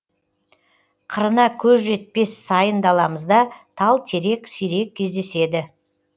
қырына көз жетпес сайын даламызда тал терек сирек кездеседі